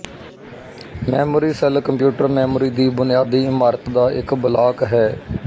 memory cell computer memory ਦੀ ਬੁਨਿਆਦੀ ਇਮਾਰਤ ਦਾ ਇੱਕ ਬਲਾਕ ਹੈ